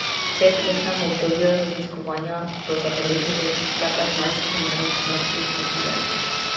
V petletnem obdobju raziskovanja so zabeležili le petnajst primerov smrti v zibelki.